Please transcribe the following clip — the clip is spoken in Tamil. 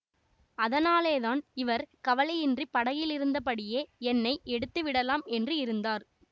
அதனாலேதான் இவர் கவலையின்றிப் படகிலிருந்தபடியே என்னை எடுத்து விடலாம் என்று இருந்தார்